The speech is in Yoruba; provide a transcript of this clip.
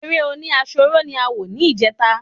Eré oní àròsọ ni a wò ni ìjeta